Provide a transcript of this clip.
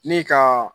Ni ka